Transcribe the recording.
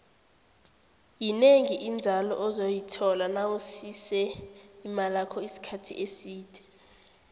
yinengi inzalo ozoyithola nawusise imalakho isikhathi eside